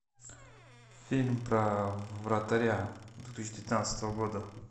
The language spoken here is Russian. фильм про вратаря две тысячи девятнадцатого года